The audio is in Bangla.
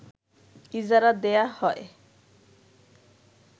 ইজারা দেয়া হয়